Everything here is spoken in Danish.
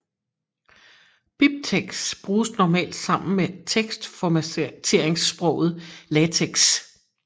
BibTeX bruges normalt sammen med teksformateringssproget LaTeX